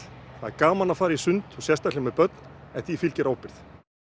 það er gaman að fara í sund sérstaklega með börn en því fylgir ábyrgð